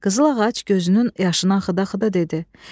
Qızıl ağac gözünün yaşın axıda-axıda dedi: